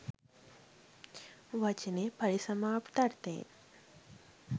වචනයේ පරිසමාප්ත අර්ථයෙන්